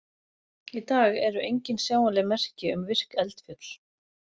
Í dag eru engin sjáanleg merki um virk eldfjöll.